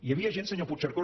hi havia gent senyor puigcercós